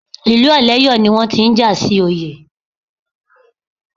Ìlú Ọ̀lẹ́yọ̀ ni wọ́n ti ń jà sí oyè.